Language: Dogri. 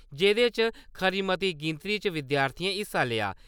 जेह्दे च खरी मती गिनतरी च विद्यार्थियें हिस्सा लेआ।